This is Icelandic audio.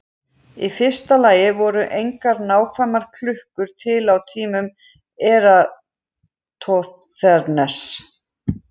Í fyrsta lagi voru engar nákvæmar klukkur til á tímum Eratosþenesar.